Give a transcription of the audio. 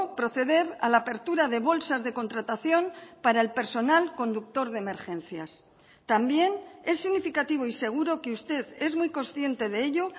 proceder a la apertura de bolsas de contratación para el personal conductor de emergencias también es significativo y seguro que usted es muy consciente de ello